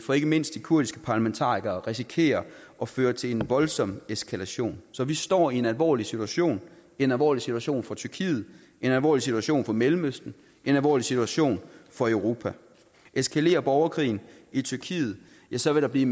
fra ikke mindst de kurdiske parlamentarikere risikerer at føre til en voldsom eskalation så vi står i en alvorlig situation en alvorlig situation for tyrkiet en alvorlig situation for mellemøsten en alvorlig situation for europa eskalerer borgerkrigen i tyrkiet ja så vil der blive